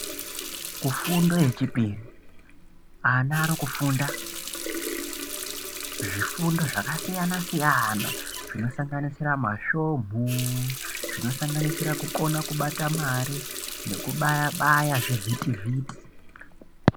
Kufundo yechipiri ana akufunda zvifundo zvakasiyana siyana zvinosanganisira masvomu zvinosanganisira kukona kubata mari nekubaya baya zvivhiti vhiti.